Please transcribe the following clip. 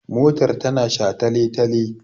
Motar ta na shataletale